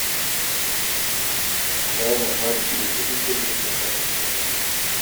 Oga yana ba ni ciwon kai duk da irin taka-tsantsan da nake yi.